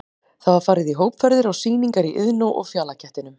Það var farið í hópferðir á sýningar í Iðnó og Fjalakettinum.